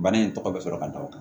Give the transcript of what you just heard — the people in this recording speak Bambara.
Bana in tɔgɔ bɛ sɔrɔ ka da o kan